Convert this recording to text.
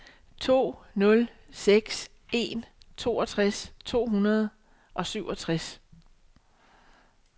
to nul seks en toogtres to hundrede og syvogtres